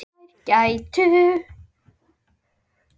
Þeir gætu.